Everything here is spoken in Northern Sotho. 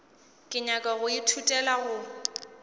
ke nyaka go ithutela go